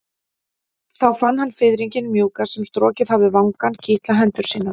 Þá fann hann fiðringinn mjúka sem strokið hafði vangann kitla hendur sínar.